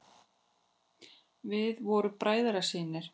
Við vorum bræðrasynir.